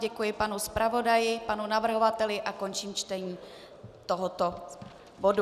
Děkuji panu zpravodaji, panu navrhovateli a končím čtení tohoto bodu.